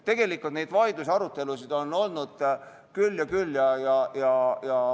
Tegelikult on neid vaidlusi ja arutelusid olnud küll ja küll.